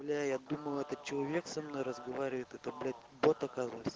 бля я думал это человек со мной разговаривает это блять бот оказывается